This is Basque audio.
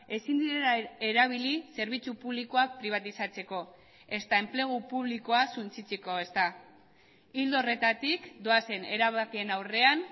ezin direla erabili zerbitzu publikoak pribatizatzeko ezta enplegu publikoa suntsitzeko ezta ildo horretatik doazen erabakien aurrean